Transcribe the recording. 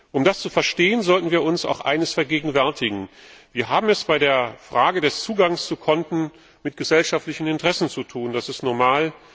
Um das zu verstehen, sollten wir uns eines vergegenwärtigen Wir haben es bei der Frage des Zugangs zu Konten mit gesellschaftlichen Interessen zu tun, das ist normal.